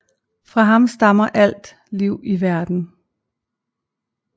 Fra ham stammer alt liv i verden